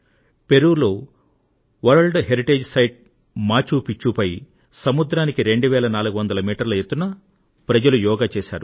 పెరూలో world heritage site Machu Picchu పై సముద్రానికి 2 వేల 400 మీటర్ల ఎత్తున ప్రజలు యోగా చేశారు